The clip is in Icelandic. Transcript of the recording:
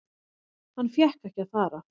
Hann fékk ekki að fara.